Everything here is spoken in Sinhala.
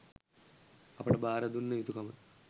අපට භාර දුන්න යුතුකම